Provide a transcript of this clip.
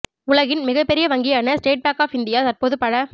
உலகின் மிகப்பெரிய வங்கியான ஸ்டேட் பாங்க் ஆப் இந்தியா தற்போது பல